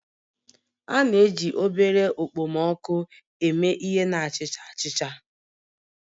A na-eji obere okpomọkụ eme ihe na achicha achicha